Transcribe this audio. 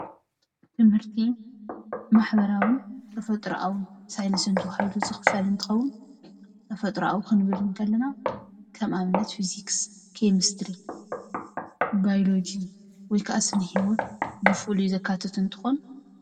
ትምህርቲ ማሕበራዊ ተፈጥሮአዊ ሳይንስን ተባሂሉ ዝክፈል እንትኮን ተፈጥሮአዊ ክንብል ከለና ከም አብነት ፊዚክስ ኬሚስትሪ ባዮሎጂ ወይ ከአ ስነህይወት ብፋሉይ ዘካትት እንትኮን ።